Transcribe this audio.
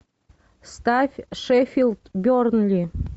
ставь шеффилд бернли